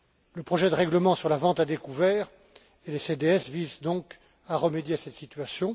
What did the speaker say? Le projet de règlement sur la vente à découvert et les CDS visent précisément à remédier à cette situation.